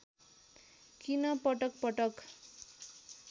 किन पटक पटक